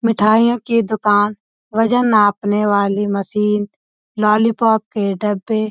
मिठाइयों की दुकान वजन नापने वाली मशीन ललीपॉप के डब्बे --